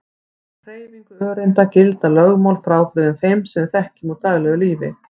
Um hreyfingu öreinda gilda lögmál frábrugðin þeim sem við þekkjum úr daglegu lífi.